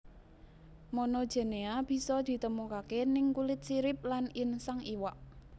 Monogenea bisa ditemukaké ning kulit sirip lan insang iwak